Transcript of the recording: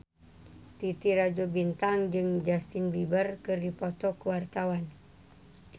Titi Rajo Bintang jeung Justin Beiber keur dipoto ku wartawan